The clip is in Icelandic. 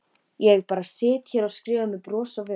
Ég bara sit hér og skrifa með bros á vör.